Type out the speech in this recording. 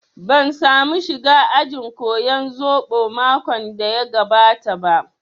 Ban samu shiga ajin koyan zobo makon da ya gabata ba